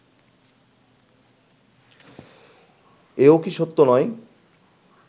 এও কি সত্য নয়